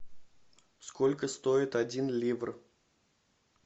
сколько стоит один ливр